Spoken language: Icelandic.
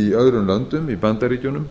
í öðrum löndum bandaríkjunum